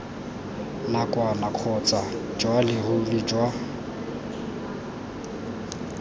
nakwana kgotsa jwa leruri jwa